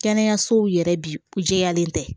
Kɛnɛyasow yɛrɛ bi jɛyalen tɛ